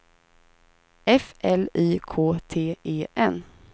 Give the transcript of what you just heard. F L Y K T E N